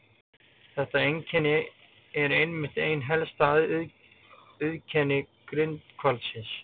Þetta einkenni er einmitt eitt helsta auðkenni grindhvalsins.